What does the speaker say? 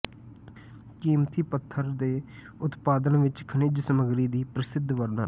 ਕੀਮਤੀ ਪੱਥਰ ਦੇ ਉਤਪਾਦਨ ਵਿੱਚ ਖਣਿਜ ਸਮੱਗਰੀ ਦੀ ਪ੍ਰਸਿੱਧ ਵਰਤਣ